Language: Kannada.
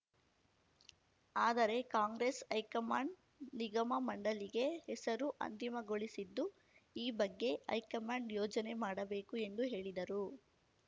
ಆದರೆ ಕಾಂಗ್ರೆಸ್‌ ಹೈಕಮಾಂಡ್‌ ನಿಗಮಮಂಡಳಿಗೆ ಹೆಸರು ಅಂತಿಮಗೊಳಿಸಿದ್ದು ಈ ಬಗ್ಗೆ ಹೈಕಮಾಂಡ್‌ ಯೋಚನೆ ಮಾಡಬೇಕು ಎಂದು ಹೇಳಿದರು